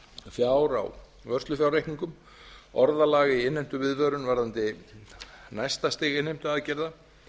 fjár á vörslufjárreikningum orðalag í innheimtuviðvörun varðandi næsta stig innheimtuaðgerða